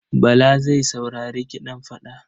Bala zai saurari kiɗan fada.